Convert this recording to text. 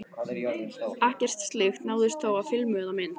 Ekkert slíkt náðist þó á filmu eða mynd.